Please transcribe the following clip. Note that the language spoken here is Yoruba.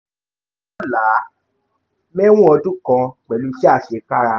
là á mẹ̀wọ̀n ọdún kan pẹ̀lú iṣẹ́ àṣekára